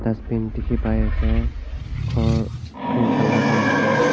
dustbin dikhi pai ase ghor green colour tey ase.